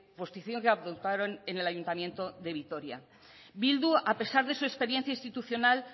posición que adoptaron en el ayuntamiento de vitoria bildu a pesar de su experiencia institucional